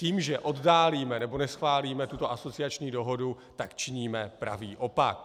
Tím, že oddálíme nebo neschválíme tuto asociační dohodu, tak činíme pravý opak.